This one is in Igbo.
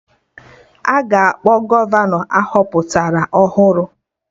Aga akpọ Gọvanọ ahọpụtara ọhụrụ